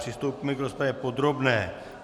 Přistoupíme k rozpravě podrobné.